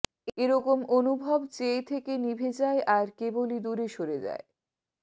এ রকম অনুভব চেয়ে থেকে নিভে যায় আর কেবলই দূরে সরে যায়